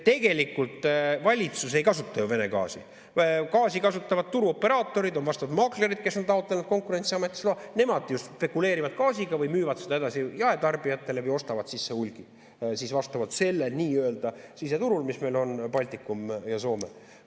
Tegelikult valitsus ei kasuta ju Vene gaasi, gaasi kasutavad turuoperaatorid, on vastavad maaklerid, kes on taotlenud Konkurentsiametist loa, nemad ju spekuleerivad gaasiga või müüvad seda edasi jaetarbijatele või ostavad sisse hulgi sellel nii-öelda siseturul, mis meil on Baltikum ja Soome.